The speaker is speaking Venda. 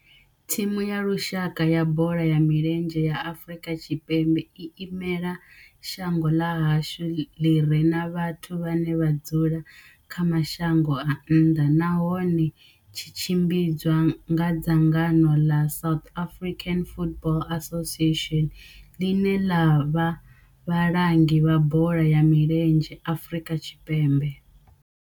Thimu ya lushaka ya bola ya milenzhe ya Afrika Tshipembe i imela shango ḽa hashu ḽi re na vhathu vhane vha dzula kha mashango a nnḓa nahone tshi tshimbidzwa nga dzangano ḽa South African Football Association, ḽine ḽa vha vhalangi vha bola ya milenzhe Afrika Tshipembe.